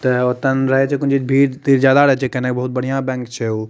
त ओतेन रहय छे जेखोने जे भीड़ ते ज्यादा रहे छे कैने बहुत बढ़िया बैंक छे उ।